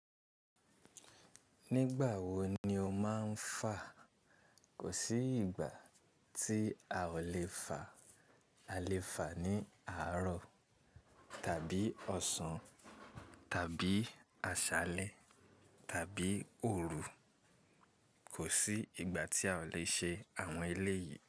Nígbà wo ni o máa ń fà? Kò sí ìgbà tí a ò lè fà. A lè fà ní àárọ̀ tàbí ọ̀sán tàbí àṣálẹ́ tàbí òru. Kò sí ìgbà tí a ò lè ṣe àwọn eléyìí.